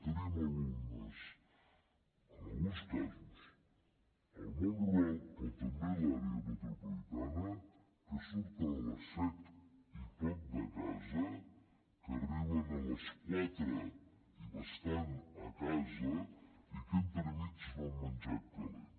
tenim alumnes en alguns casos al món rural però també a l’àrea metropolitana que surten a les set i poc de casa que arriben a les quatre i bastant a casa i que entremig no han menjat calent